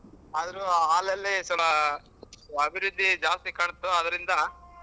ಆದ್ರು ಹಾಲಲ್ಲೆ ಅಭಿವೃದ್ದಿ ಜಾಸ್ತಿ ಕಾಣ್ತು ಅದರಿಂದ